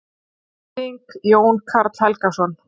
Þýðing: Jón Karl Helgason.